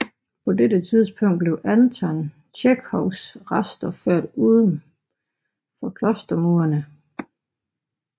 På dette tidspunkt blev Anton Tjekhovs rester ført uden for klostermurene